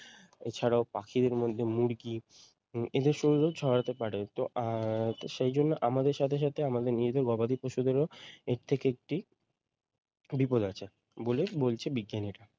এছাড়াও পাখিদের মধ্যে মুরগি এদের শরীরেও ছড়াতে পারে। তো আহ সেই জন্য আমাদের সাথে সাথে আমাদের নিরীহ গবাদি পশুদেরও এর থেকে একটি বিপদ আছে বলে বলছে বিজ্ঞানীরা।